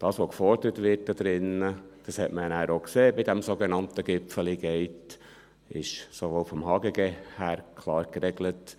Was hier gefordert wird, dies hat man bei diesem sogenannten «Gipfeli Gate» gesehen, ist sowohl im Gesetz über Handel und Gewerbe (HGG) klar geregelt.